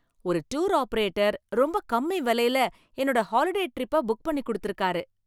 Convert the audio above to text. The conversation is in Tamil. ஒரு டூர் ஆபரேட்டர் ரொம்ப கம்மி விலையில என்னோட ஹாலிடே ட்ரிப்பை புக் பண்ணிக் குடுத்திருக்காரு